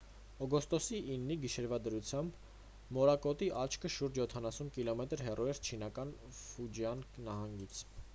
օգոստոսի 9-ի գիշերվա դրությամբ մորակոտի աչքը շուրջ յոթանասուն կիլոմետր հեռու էր չինական ֆուջիան նահանգից